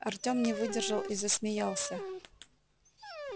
артём не выдержал и засмеялся